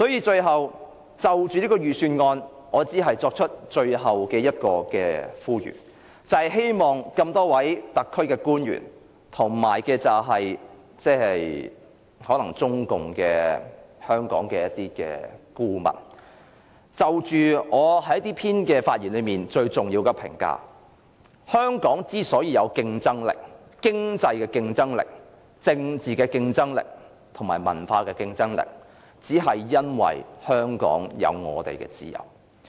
最後，就這份預算案，我只作出最後的呼籲，就是希望多位特區官員和香港的中共顧問思考就我這篇發言中最重要的評價：香港有經濟、政治和文化競爭力，只因香港有自由。